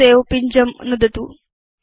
सवे पिञ्जं नुदतु